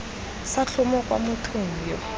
sa tlhomo kwa mothong yoo